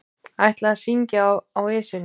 Ætla að syngja í Esjunni